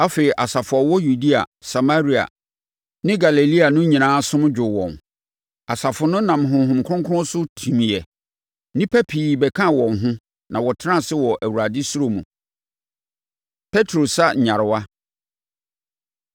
Afei, asafo a wɔwɔ Yudea, Samaria ne Galilea no nyinaa asom dwoo wɔn. Asafo no nam Honhom Kronkron so timiiɛ. Nnipa pii bɛkaa wɔn ho na wɔtenaa ase wɔ Awurade suro mu. Petro Sa Nyarewa